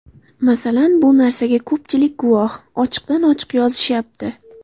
Masalan, bu narsaga ko‘pchilik guvoh, ochiqdan ochiq yozishyapti.